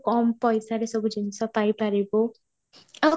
କମ ପଇସାରେ ସବୁ ଜିନିଷ ପାଇ ପାରିବୁ ଆଁ